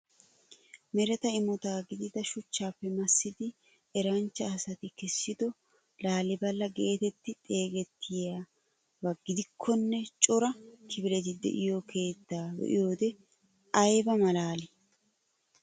Mereta imota gidida shuchchaappe massidi eranchcha asati kessido laalilebela geetetti xeegettiya ba giddonkka cora kifileti de'iyo keettaa be'iyoode ayiba malaalii!